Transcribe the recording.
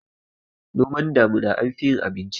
noman damina anfi yin abinci